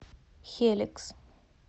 хеликс